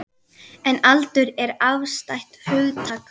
En aldur er afstætt hugtak.